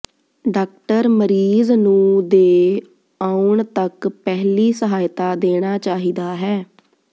doctor ਮਰੀਜ਼ ਨੂੰ ਦੇ ਆਉਣ ਤਕ ਪਹਿਲੀ ਸਹਾਇਤਾ ਦੇਣਾ ਚਾਹੀਦਾ ਹੈ